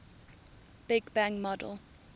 big bang model